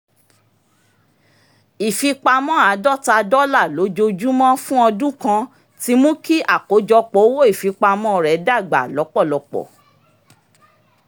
ìfipamọ́ àdọ́ta dọ́là lójoojúmọ́ fún ọdún kan ti mú kí àkójọpọ̀ owó ìfipamọ́ rẹ̀ dágbà lọ́pọ̀lọpọ̀